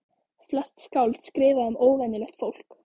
Flest skáld skrifa um óvenjulegt fólk.